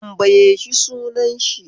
Tanbaye shi sunan shi